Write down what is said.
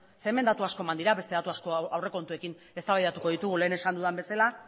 hemen datu asko eman dira aurrekontuekin eztabaidatuko ditugu lehen esan dudan bezala